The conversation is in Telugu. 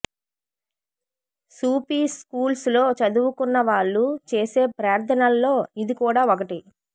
సూఫీ స్కూల్స్ లో చదువుకున్న వాళ్ళు చేసే ప్రార్థనల్లో ఇది కూడా ఒకటి